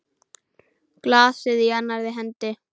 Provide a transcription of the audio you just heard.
Glasið í annarri hendi.